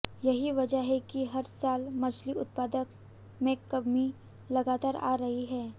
यही वजह है कि हर साल मछली उत्पादन में कमी लगातार आ रही है